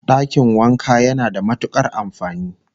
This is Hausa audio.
Dakin wanka yana da matukar amfani